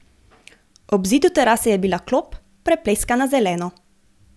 Ob zidu terase je bila klop, prepleskana zeleno.